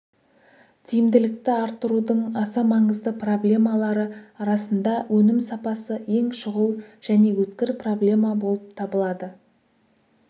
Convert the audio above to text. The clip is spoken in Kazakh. тиімділікті арттырудың аса маңызды проблемалары арасында өнім сапасы ең шұғыл және өткір проблема болып табылады